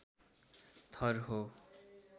थर हो।